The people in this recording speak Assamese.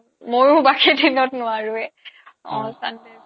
ময়ো বাকি দিনত নোৱাৰোয়ে অ sunday